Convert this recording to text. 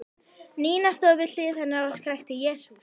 Nína stóð við hlið hennar og skrækti: Jesús!